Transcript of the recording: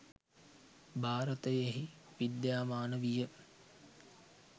භාරතයෙහි විද්‍යාමාන විය.